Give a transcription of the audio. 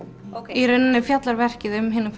í rauninni fjallar verkið um hina